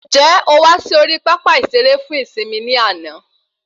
Ǹjẹ o wà sí orí pápá ìsere fún ìsimi ní àna